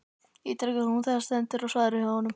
ítrekar hún þegar stendur á svari frá honum.